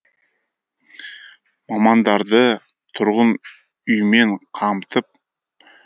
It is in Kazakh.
мамандарды тұрғын үймен қамтып